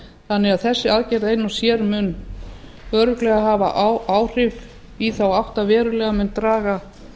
þannig að þessi aðgerð ein og sér mun örugglega hafa áhrif í þá átt að verulega mun draga